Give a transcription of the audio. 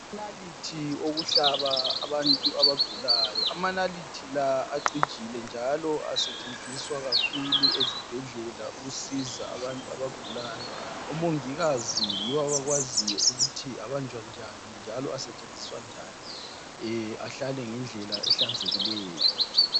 Amanaliti okuhlaba abantu abagulayo. Amanaliti la acijile njalo asetshenziswa kakhulu ezibhedlela ukusiza abantu abagulayo. Omongikazi yibo abakwaziyo ukuthi abanjwa njani njalo asetshenziswa njan, ahlale ngendlela ehlanzekileyo.